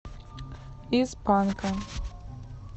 из панка